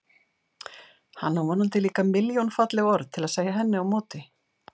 Hann á vonandi líka milljón falleg orð til að segja henni á móti.